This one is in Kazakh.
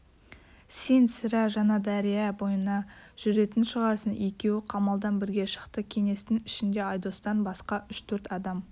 сен сірә жаңадәрия бойына жүретін шығарсың екеуі қамалдан бірге шықты кеңестің ішінде айдостан басқа үш-төрт адам